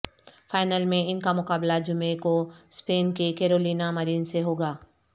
final میں ان کا مقابلہ جمعے کو سپین کی کیرولینا مرین سے ہوگا